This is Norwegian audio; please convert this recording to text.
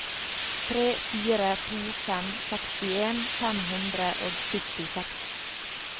tre fire to fem sekstien fem hundre og syttiseks